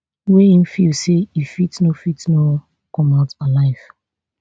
wey im feel say e fit no fit no come out alive